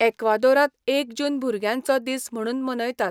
यॅक्वादोरांत एक जून भुरग्यांचो दीस म्हणून मनयतात.